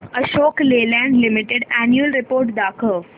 Ashok Leyland limited annual report दाखव